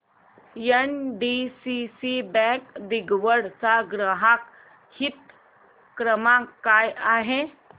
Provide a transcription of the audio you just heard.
NDCC bank दिघवड चा ग्राहक हित क्रमांक काय आहे